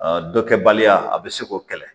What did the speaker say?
dɔ kɛbaliya a bɛ se k'o kɛlɛ